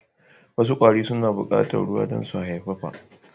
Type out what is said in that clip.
Wasu kwari suna bukatar ruwa dan su haifafa